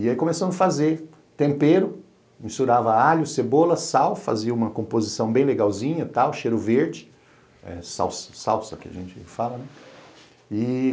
E aí começamos a fazer tempero, misturava alho, cebola, sal, fazia uma composição bem legalzinha, tal, cheiro verde, salsa que a gente fala, né? E